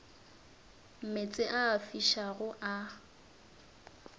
meetse a a fišago a